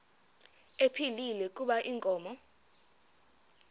ephilile kuba inkomo